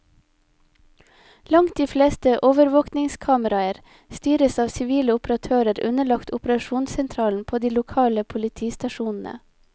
Langt de fleste overvåkingskameraene styres av sivile operatører underlagt operasjonssentralen på de lokale politistasjonene.